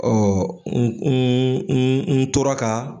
n n n n tora ka